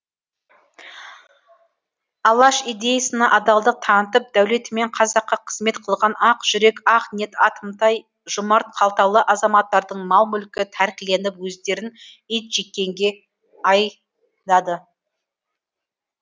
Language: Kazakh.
алаш идеясына адалдық танытып дәулетімен қазаққа қызмет қылған ақ жүрек ақ ниет атымтай жомарт қалталы азаматтардың мал мүлкі тәркіленіп өздерін итжеккенге айдады